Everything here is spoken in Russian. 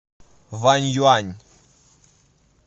ваньюань